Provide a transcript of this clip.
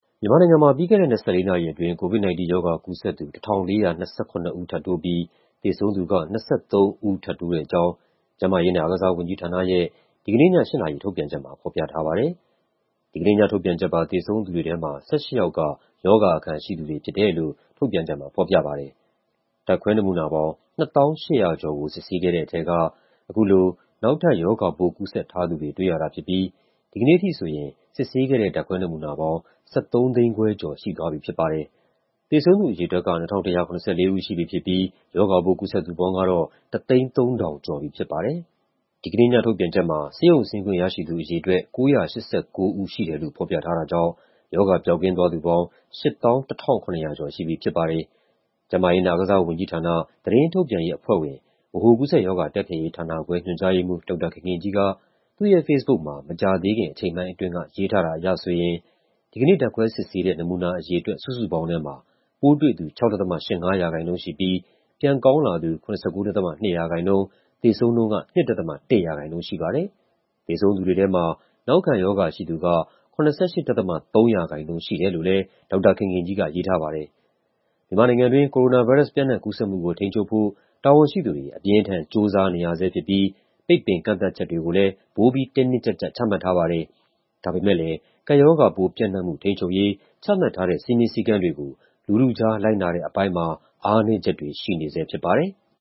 မြန်မာနိုင်ငံမှာ ပြီးခဲ့တဲ့ ၂၄ နာရီအတွင်း COVID-19 ရောဂါကူးစက်သူ ၁,၄၂၇ ဦး ထပ်တိုးပြီး သေဆုံးသူက ၂၃ ဦး ထပ်တိုးတဲ့အကြောင်း ကျန်းမာရေးနဲ့ အားကစားဝန်ကြီးဌာနရဲ့ ဒီကနေ့ည ၈ နာရီ ထုတ်ပြန်ချက်မှာ ဖော်ပြထားပါတယ်။ ဒီကနေ့ ညထုတ်ပြန်ချက်ပါ သေဆုံးသူတွေထဲမှာ ၁၈ ယောက်က ရောဂါအခံရှိသူတွေဖြစ်တယ်လို့ ထုတ်ပြန်ချက်မှာ ဖော်ပြထားပါတယ်။ ဓာတ်ခွဲနမူနာပေါင်း ၂၀,၈၂၆ ခုကို စစ်ဆေးခဲ့တဲ့ထဲက အခုလို နောက်ထပ် ရောဂါပိုးကူးစက်ထားသူတွေ တွေ့ရတာဖြစ်ပြီး ဒီကနေ့အထိဆိုရင် စစ်ဆေးခဲ့တဲ့ ဓာတ်ခွဲနမူနာပေါင်း ၁,၃၅၁,၉၁၈ ခု ရှိသွားပြီဖြစ်ပါတယ်။ သေဆုံးသူအရေအတွက်က ၂,၁၇၄ ဦး ရှိပြီဖြစ်ပြီး ရောဂါပိုး ကူးစက်သူပေါင်းကတော့ ၁၀၃,၁၆၆ ဦး ရှိသွားပါပြီ။ ဒီကနေ့ညထုတ်ပြန်ချက်မှာ ဆေးရုံဆင်းခွင့်ရရှိသူအရေအတွက် ၉၈၉ ဦးရှိတယ်လို့ ဖော်ပြထားတာကြောင့် ရောဂါပျောက်ကင်းသွားသူပေါင်း ၈၁,၇၁၅ ဦး ရှိသွားပြီဖြစ်ပါတယ်။ ကျန်းမာရေးနဲ့ အားကစားဝန်ကြီးဌာန၊ သတင်းထုတ်ပြန်ရေးအဖွဲ့ဝင်၊ ဗဟိုကူးစက်ရောဂါ တိုက်ဖျက်ရေးဌာနခွဲ ညွှန်ကြားရေးမှူး ဒေါက်တာခင်ခင်ကြီးက သူ့ရဲ့ဖေ့စ်ဘုတ်မှာ မကြာသေးခင် အချိန်ပိုင်းအတွင်းက ရေးထားတာအရဆိုရင် ဒီကနေ့ ဓာတ်ခွဲစစ်ဆေးတဲ့ နမူနာအရေအတွက် စုစုပေါင်းထဲမှာ ပိုးတွေ့သူ ၆.၈၅% ရှိပြီး ပြန်ကောင်းလာသူ ၇၉.၂% ၊ သေဆုံးနှုန်းက ၂.၁% ရှိပါတယ်။ သေဆုံးသူတွေထဲမှာ နောက်ခံရောဂါရှိသူက ၇၈.၃% ရှိတယ်လို့လည်း ဒေါက်တာခင်ခင်ကြီးက ရေးထားပါတယ်။ မြန်မာနိုင်ငံတွင်း ကိုရိုနာဗိုင်းရပ်စ် ပျံ့နှံ့ကူးစက်မှုကို ထိန်းချုပ်ဖို့ တာဝန်ရှိသူတွေ အပြင်းအထန် ကြိုးစားနေရဆဲဖြစ်ပြီး ပိတ်ပင်ကန့်သတ်ချက်တွေကိုလည်း ပိုပြီး တင်းတင်းကြပ်ကြပ် ချမှတ်ထားပါတယ်။ ဒါပေမဲ့လည်း ကပ်ရောဂါပိုးပျံ့နှံ့မှု ထိန်းချုပ်ရေး ချမှတ်ထားတဲ့ စည်းမျဉ်းစည်းကမ်းတွေကို လူထုကြား လိုက်နာတဲ့အပိုင်းမှာ အားနည်းချက်တွေ ရှိနေဆဲဖြစ်ပါတယ်။